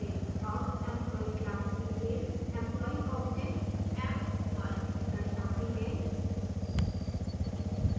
अब employee class के लिए employee object emp1 दर्शाते हैं